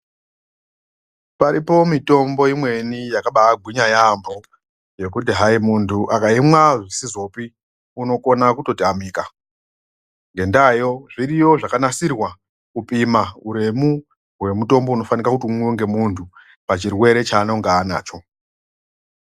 Paripo mitombo imweni yakabagwinya yambo yekuti hayi muntu akaimwa zvisizopi unokhona kutotamika ngendayo zviriyo zvakanasirwa kupima uremu hwemutombo unofanika kuti umwiwe nemuntu pachirwere chaanenge nacho.